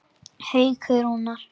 Haukur Rúnar.